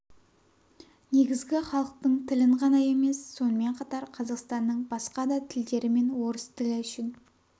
негізгі халықтың тілін ғана емес сонымен қатар қазақстанның басқа да тілдері мен орыс тілі үшін